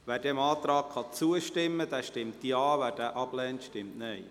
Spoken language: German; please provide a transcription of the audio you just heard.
Wer diesem Antrag zustimmen kann, stimmt Ja, wer diesen ablehnt, stimmt Nein.